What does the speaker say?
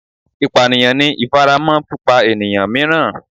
Ipaniyan ni ifaramọ pipa eniyan miiran